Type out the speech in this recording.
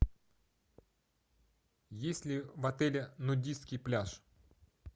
есть ли в отеле нудистский пляж